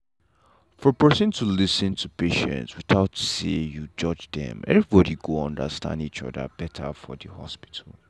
for person to lis ten to patient without say you judge them everybody go understand each other better for the hospital.